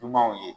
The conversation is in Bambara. Ɲumanw ye